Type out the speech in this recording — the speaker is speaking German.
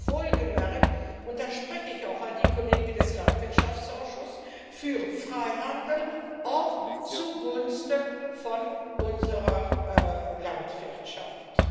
Aber wohlgemerkt und da spreche ich auch an die Kollegen des Landwirtschaftsausschusses an für Freihandel auch zugunsten unserer Landwirtschaft.